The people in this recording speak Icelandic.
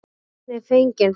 Myndin er fengin þar.